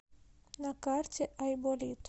на карте айболит